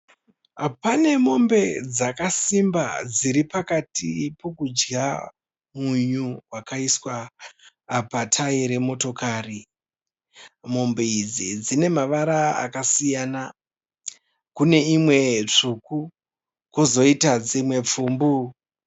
Pane mombe dzakasimba dziri pakati pokudya munyu wakaiswa patayi remotokari. Mombe idzi dzine mavara akasiyana. Kune imwe tsvuku kozoita dzimwe pfumbu.